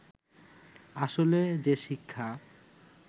আসলে যে শিক্ষা